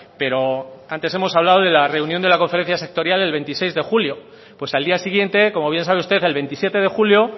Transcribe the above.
pero antes hemos hablado de la reunión de la conferencia sectorial el veintiséis de julio pues al día siguiente como bien sabe usted el veintisiete de julio